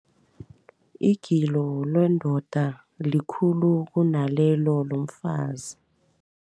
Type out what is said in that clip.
Igilo lendoda likhulu kunalelo lomfazi.